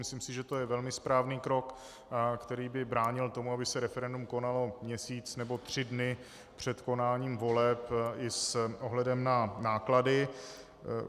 Myslím si, že to je velmi správný krok, který by bránil tomu, aby se referendum konalo měsíc nebo tři dny před konáním voleb, i s ohledem na náklady.